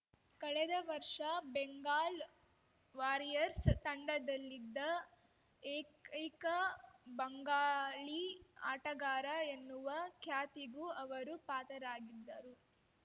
ಕಳೆದ ವರ್ಷ ಬೆಂಗಾಲ್‌ ವಾರಿಯರ್ಸ್ ತಂಡದಲ್ಲಿದ್ದ ಏಕೈಕ ಬಂಗಾಳಿ ಆಟಗಾರ ಎನ್ನುವ ಖ್ಯಾತಿಗೂ ಅವರು ಪಾತ್ರರಾಗಿದ್ದರು